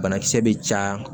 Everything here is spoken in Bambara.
Banakisɛ bɛ caya